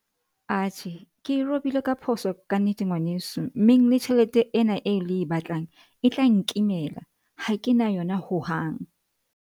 Atjhe, ke e robile ka phoso kannete, ngwaneso meng le tjhelete ena eo le e batlang e tla nkimela ha ke na yona hohang.